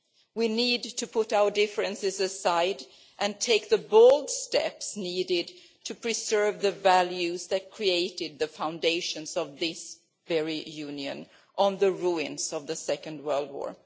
We need to put our differences aside and take the bold steps required to preserve the values that created the foundations of this very Union on the ruins of the Second World War.